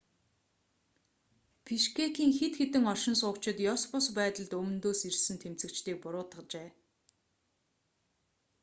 бишкекийн хэд хэдэн оршин суугчид ёс бус байдалд өмнөдөөс ирсэн тэмцэгчдийг буруутгажээ